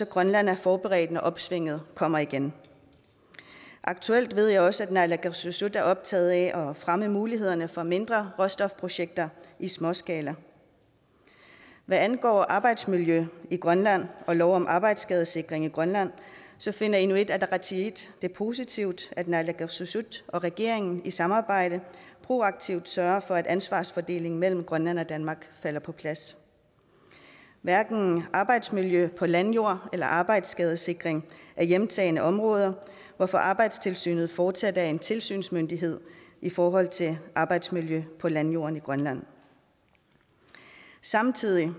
grønland er forberedt når opsvinget kommer igen aktuelt ved jeg også at naalakkersuisut er optaget af at fremme mulighederne for mindre råstofprojekter i småskala hvad angår arbejdsmiljø i grønland og lov om arbejdsskadesikring i grønland finder inuit ataqatigiit det positivt at naalakkersuisut og regeringen i samarbejde proaktivt sørger for at ansvarsfordelingen mellem grønland og danmark falder på plads hverken arbejdsmiljø på landjorden eller arbejdsskadesikring er hjemtagne områder hvorfor arbejdstilsynet fortsat er en tilsynsmyndighed i forhold til arbejdsmiljø på landjorden i grønland samtidig